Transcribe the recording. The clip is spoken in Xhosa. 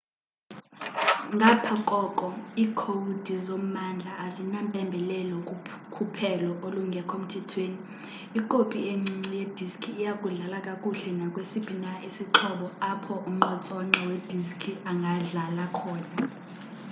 ngapha koko iikhowudi zommandla azinampembelelo kukhuphelo olungekho mthethweni ikopi encinci yediski iya kudlala kakuhle nakwesiphi na isixhobo apho unqontsonqa we diski angadlala khona